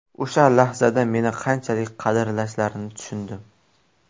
O‘sha lahzada meni qanchalik qadrlashlarini tushundim.